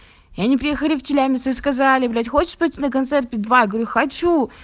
и они приехали в челябинске сказали блять хочешь пойти на концерт би два говорю хочу